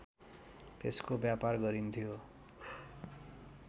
त्यसको व्यापार गरिन्थ्यो